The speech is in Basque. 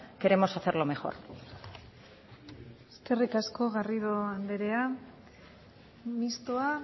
queremos hacerlo mejor eskerrik asko garrido andrea mistoa